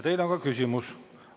Teile on ka küsimus.